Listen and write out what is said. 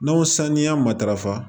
N'aw saniya matarafa